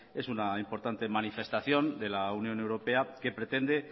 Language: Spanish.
es una importante manifestación de la unión europea que pretende